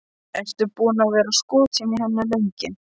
Ertu búinn að vera skotinn í henni lengi?